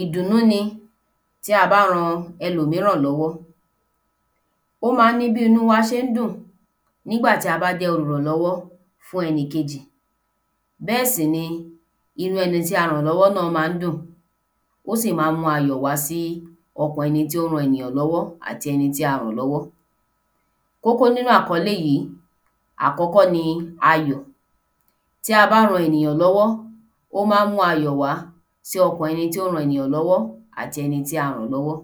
ìdùnú ni tí a bá ran ẹlòmíràn lọ́wọ́, ó ma ní bí inú wá ṣe dùn nígbà tí a bá jẹ́ olùrànlọ́wọ́ fún ẹnìkejì bẹ́ẹ̀ sì ni inú ẹni tí a ràn lọ́wọ́ náà ma ń dùn ó sì máa mú ayọ̀ wá sì ọkàn ẹni tí ó ran ènìyàn lówó àti ẹni tí a ràn lọ́wọ́ Kókó nínú àkọ́lé yìí a kọ́kọ́ ní ayọ̀ tí a bá ràn ènìyàn lọ́wọ́ ó máa mu ayọ̀ wá sì ọkàn ẹni tí ó ran ènìyàn lọ́wọ́ àti ẹni tí a ràn lọ́wọ́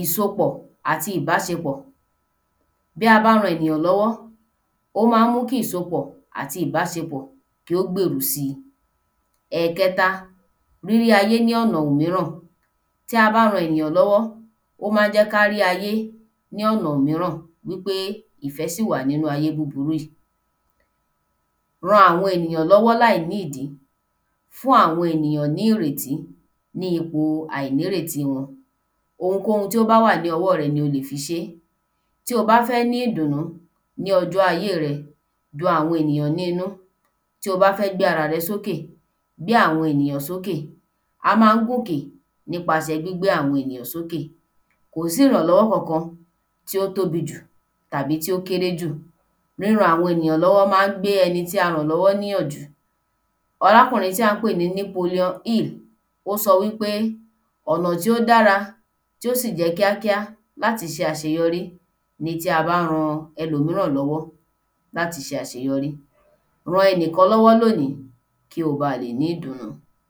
ìsopọ̀ àti ìbáṣepọ̀: bí a bá ràn ènìyàn lọ́wọ́ ó máa mú kí ìsopọ̀ àti ìbáṣepọ̀ kó gbèrò si ẹ̀kẹta rírí ayé ní ọ̀nà òmíràn, tí a bá ràn ènìyàn lọ́wọ́ ó máa jẹ́ ká rí ayé ní ọ̀na òmíràn wípé ìfẹ́ ṣì wà nínu ayé búburú yìí ran àwọn ènìyàn lọ́wọ́ láì ní ìdí fún àwọn ènìyàn ní ìrètí ní ipò àìnírèti wọn. Ohunkóhun tó bá wà ní ọwọ́ rẹ ni o lè fi ṣe tí ó bá fẹ́ ní ìdùnú ní ọjọ́ ayé rẹ dùn àwọn ènìyàn nínú. Tí o bá fẹ gbé ara rẹ sókè gbé àwọn ènìyàn sókè, a ma ń gòkè nípasẹ̀ gbígbé àwọn ènìyàn sókè Kò sí ìrànlọ́wọ́ kankan tí ó tóbi jù tàbí tí ó kéré jù, ríran àwọn ènìyàn lọ́wọ́ ma ń gba ẹni tí a ràn lọ́wọ́ níyànjú Arákùnrin tí à ń pè ní Napoleon hill ó sọ wípé ọ̀nà tí ó dára tó sì jẹ kíákíá láti ṣe àṣeyorí ni tí a bá ran ẹlòmíràn lọ́wọ́ láti ṣe àṣeyọrí ran ẹnìkan lọ́wọ́ lónìí kó o ba lè ní ìdùnú